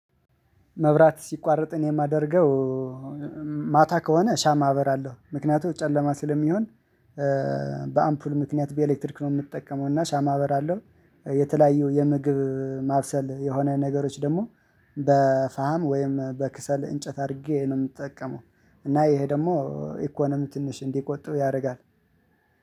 መብራት ሲቋረጥ እኔ የማደርገው ማታ ከሆነ ሻማ አበራለሁ ምክንያቱም ጨለማ ስለሚሆን። በአምፖል ምክንያት በኤሌክትሪክ ነው የምጠቀመው እና ሻማ አበራለሁ። የተለያዩ የምግብ ማብሰል የሆነ ነገሮች ደግሞ በፋም ወይም በክሰል እንጨት አድርጌ ነው የምጠቀመው። እና ይሄ ደግሞ ኢኮኖሚ ትንሽ እንዲቆጥብ ያደርጋል